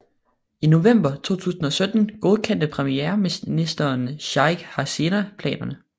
I november 2017 godkendte premierminister Sheikh Hasina planerne